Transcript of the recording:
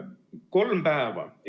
Kolm päeva!